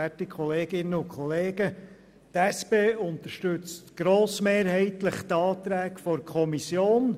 Die SP-JUSO-PSA-Fraktion unterstützt grossmehrheitlich die Anträge der Kommission.